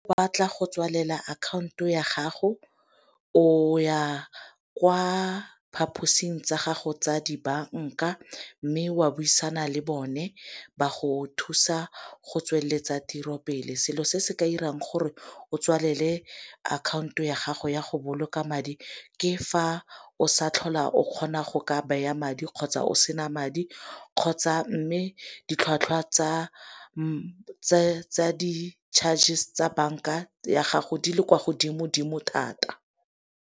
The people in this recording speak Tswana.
Ba tla go tswalela akhaonto ya gago, o ya kwa phaposing tsa gago tsa dibanka. Mme o a buisana le bone ba go thusa go tsweletsa tiro pele. Selo se se ka 'irang gore o tswalele akhanoto ya gago ya go boloka madi ke fa o sa tlhola o kgona go ka beya madi, kgotsa o sena madi, kgotsa mme ditlhwatlhwa tsa di chargers tsa banka ya gago di le kwa godimo-dimo thata.